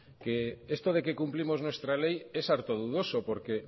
que esto de que cumplimos nuestra ley es harto dudoso porque